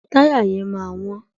Táyà yẹn máa wọ́n.